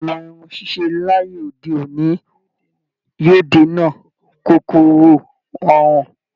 Ìlànà irun ṣíṣe láyé òde òní yóò dènà kòkòrò àrùn